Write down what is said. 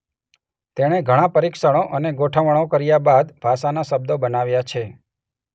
તેણે ઘણાં પરીક્ષણો અને ગોઠવણો કર્યા બાદ ભાષાના શબ્દો બનાવ્યા છે.